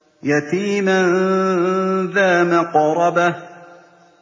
يَتِيمًا ذَا مَقْرَبَةٍ